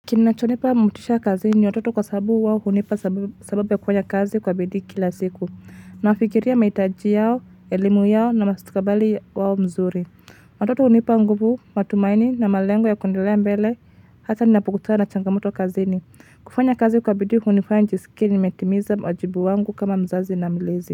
Kinachonipa motisha kazini ni watoto kwa sababu wao hunipa sababu ya kufanya kazi kwa bidii kila siku Nafikiria mahitaji yao, elimu yao na mustakabali wao mzuri Watoto hunipa nguvu, matumaini na malengo ya kuendelea mbele Hata ninapukutana na changamoto kazini kufanya kazi kwa bidii hunifanya nijisikie nimetimiza wajibu wangu kama mzazi na milezi.